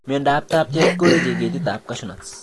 Miondab taptet koweche ketitab cashew nut